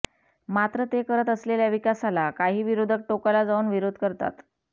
मात्र ते करत असलेल्या विकासाला काही विरोधक टोकाला जाऊन विरोध करतात